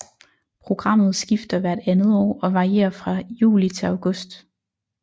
Programmet skifter hvert andet år og varer fra juli til august